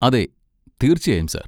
അതെ, തീർച്ചയായും, സർ.